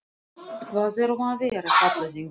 Hvað er um að vera? kallaði einhver.